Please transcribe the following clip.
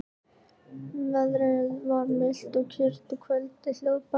Veðrið var milt og kyrrt og kvöldið hljóðbært.